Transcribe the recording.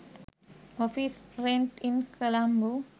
office rent in colombo